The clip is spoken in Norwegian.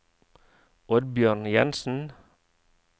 Oddbjørn Jensen